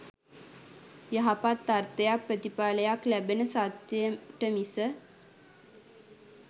යහපත් අර්ථයක් ප්‍රතිඵලයක් ලැබෙන සත්‍යයට මිස,